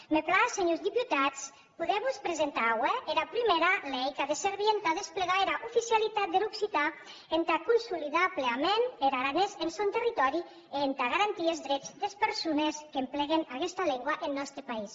me platz senhors deputats poder vos presentar aué era prumèra lei qu’a de servir entà desplegar era oficialitat der occitan entà consolidar pleament er aranés en sòn territòri e entà garantir es drets des persones qu’empleguen aguesta lengua en nòste país